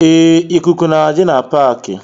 Ee, ịkụkụ na-adi na paaki